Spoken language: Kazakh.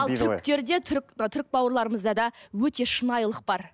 ал түріктерде түрік бауырларымызда да өте шынайылық бар